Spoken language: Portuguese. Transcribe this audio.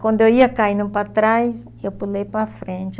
Quando eu ia caindo para trás, eu pulei para frente.